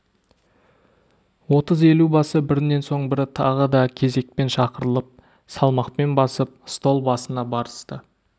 отыз елубасы бірінен соң бірі тағы да кезекпен шақырылып салмақпен басып стол басына барысты